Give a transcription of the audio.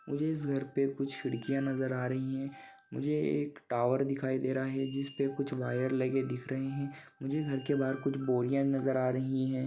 मुझे इस घर पे कुछ खिड़कियाँ नज़र आ रही है मुझे एक टॉवर दिखाई दे रहा है जिसपे कुछ वायर लगे दिख रहे है मुझे घर के बाहर कुछ बोरिया नजर आ रही है ।